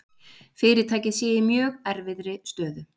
Fyrirtækið sé í mjög erfiðri stöðu